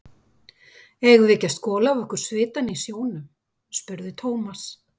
Eigum við ekki að skola af okkur svitann í sjónum? spurði Thomas.